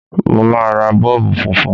Mo máa ra Bọ́ọ̀bù funfun.